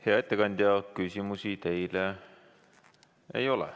Hea ettekandja, küsimusi teile ei ole.